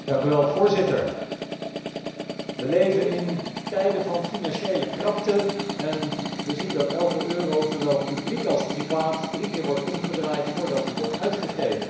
Voorzitter, we leven in tijden van financiële krapte en we zien dat elke euro, zowel publiek als privaat, drie keer wordt omgedraaid, voordat hij wordt uitgegeven.